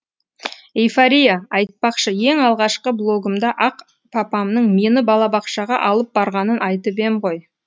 эйфория айтпақшы ең алғашқы блогымда ақ папамның мені балабақшаға алып барғанын айтып ем ғой